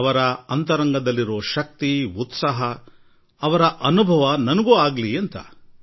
ಅವರನ್ನು ಭೇಟಿಯಾಗೋಣ ಅವರಲ್ಲಿರುವ ಉತ್ಸಾಹ ಚೈತನ್ಯದ ಅನುಭವ ನನಗೂ ಆಗಲಿ ಎಂದು ಅಪೇಕ್ಷಿಸಿದೆ